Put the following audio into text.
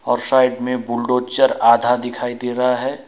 और साइड में बुलडोजर आधा दिखाई दे रहा है।